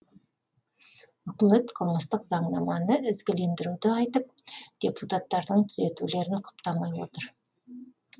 үкімет қылмыстық заңнаманы ізгілендіруді айтып депутаттардың түзетулерін құптамай отыр